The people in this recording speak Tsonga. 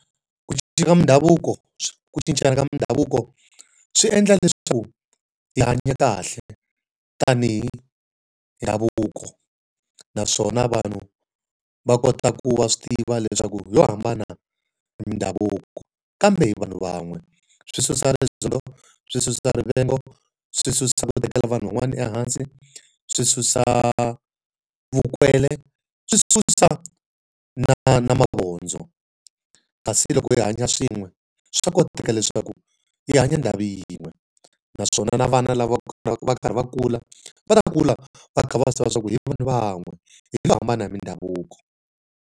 Ku cinca ka mindhavuko ku cincana ka mindhavuko swi endla leswaku swi hanya kahle tanihi ndhavuko. Naswona vanhu va kota ku va swi tiva leswaku hi lo hambana mindhavuko kambe vanhu van'we. Swi susa rizondho, swi susa rivengo, swi susa ku tekela vanhu van'wanyana ehansi, swi susa vukwele, swi susa na na mavondzo. Kasi loko hi hanya swin'we, swa koteka leswaku yi hanya ndhawu yin'we. Naswona na vana lava va karhi va kula va ta va kula va kha va swi tiva leswaku hi vanhu van'we, hi lo hambana hi mindhavuko.